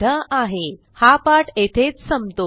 spoken tutorialorgnmeict intro हा पाठ येथेच संपतो